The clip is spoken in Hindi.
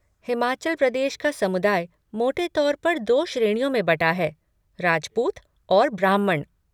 हिमाचल प्रदेश का समुदाय मोटे तौर पर दो श्रेणियों में बँटा है, राजपूत और ब्राह्मण।